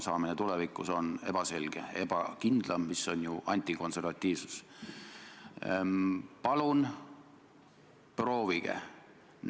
Esimene viieaastane tähtaeg lõppeb kohe, 3. detsembril ja nüüd tahetakse ellu viia seda teist pikendamise perioodi.